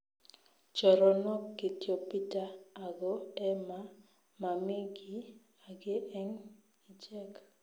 Choronok kityo Peter ago Emma mami giy age eng ichek